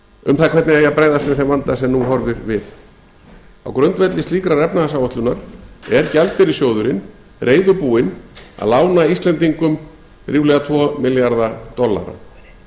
um það hvernig eigi að bregðast við þeim vanda sem nú horfir við á grundvelli slíkrar efnahagsáætlunar er gjaldeyrissjóðurinn reiðubúinn að lána íslendingum ríflega tvo milljarða dollara